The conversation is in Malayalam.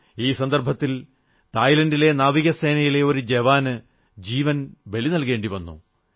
ഈ സംരംഭത്തിൽ തായ്ലന്റിന്റെ നാവികസേനയിലെ ഒരു ജവാന് ജീവൻ ബലിനൽകേണ്ടിവന്നു